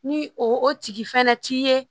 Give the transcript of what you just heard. Ni o tigi fɛnɛ t'i ye